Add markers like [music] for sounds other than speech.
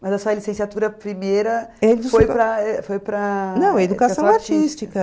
Mas a sua licenciatura primeira [unintelligible] foi para... Não, educação artística.